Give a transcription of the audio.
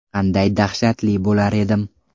Qanday dahshatli bo‘lar edim.